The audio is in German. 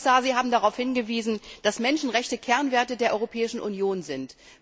Herr Kommissar, Sie haben darauf hingewiesen, dass Menschenrechte Kernwerte der Europäischen Union sind.